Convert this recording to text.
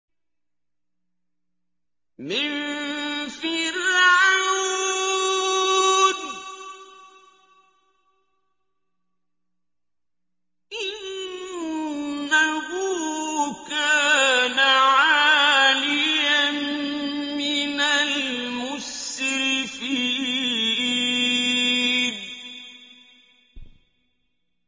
مِن فِرْعَوْنَ ۚ إِنَّهُ كَانَ عَالِيًا مِّنَ الْمُسْرِفِينَ